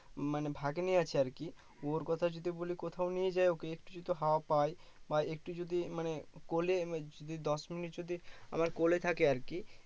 মানে ভাগ্নে আছে আর কি ওর কথা যদি বলি কোথাও নিয়ে যাই ওকে একটু যদি হাওয়া পাই বা একটু যদি মানে কোলে যদি দশ মিনিট যদি আমার কোলে থাকে আর কি